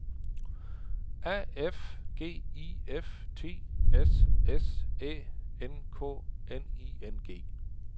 A F G I F T S S Æ N K N I N G